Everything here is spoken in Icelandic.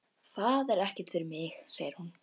Það er ekkert fyrir mig, segir hún.